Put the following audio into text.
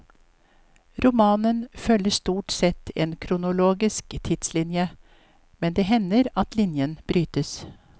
Romanen følger stort sett en kronologisk tidslinje, men det hender at linjen brytes.